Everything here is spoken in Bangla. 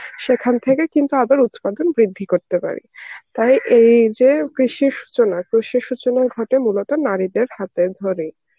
সেখান থেকে কিন্তু আবার উৎপাদন বৃদ্ধি করতে পারি.তবে এই যে কৃষির সূচনা কৃষি সূচনা ঘটে মূলত নারীদের হাতে ধরে.